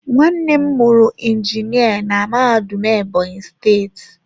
Nwannem muru injinia na mahadum Ebonyi steeti.